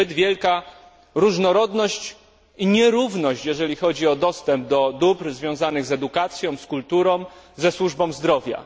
Jest zbyt wielka różnorodność i nierówność, jeżeli chodzi o dostęp do dóbr związanych z edukacją, z kulturą, ze służbą zdrowia.